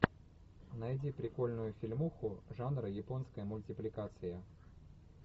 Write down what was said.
найди прикольную фильмуху жанра японская мультипликация